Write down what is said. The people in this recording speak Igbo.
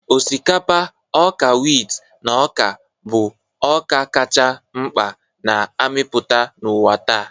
Osikapa, ọka wit, na ọka bụ ọka kacha mkpa na-amịpụta n'ụwa taa.